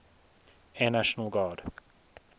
air national guard